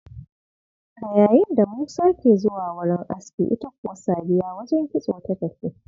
A yayinda Musa ke zuwa wurin aski, ita kuwa Sadiya wajen kitso ta tafi.